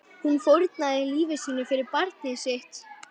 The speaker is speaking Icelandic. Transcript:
Hún fórnaði lífi sínu fyrir barnið sitt.